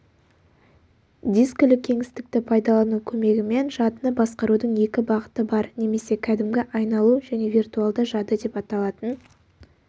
дискілі кеңістікті пайдалану көмегімен жадыны басқарудың екі бағыты бар немесе кәдімгі айналу және виртуалды жады деп аталатын